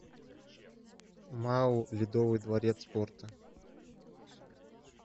мау ледовый дворец спорта